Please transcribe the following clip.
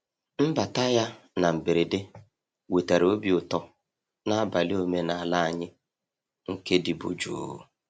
Mbata ya na mberede wetara obi ụtọ n’abalị omenala anyị nke dịbu jụụ.